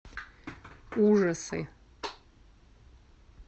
ужасы